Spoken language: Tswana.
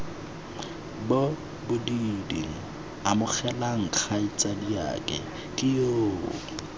bobididi amogelang kgaitsadiake ke yoo